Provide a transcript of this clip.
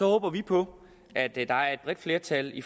håber vi på at der er et bredt flertal i